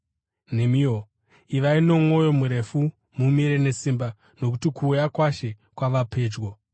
Nemiwo, ivai nomwoyo murefu uye mumire nesimba, nokuti kuuya kwaShe kwava pedyo.